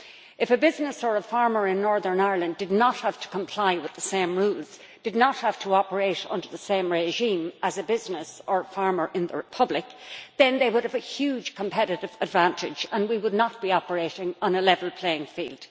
If a business or farmer in Northern Ireland did not have to comply with the same rules did not have to operate under the same regime as a business or farmer in the Republic then they would have a huge competitive advantage and we would not be operating on a level playing field.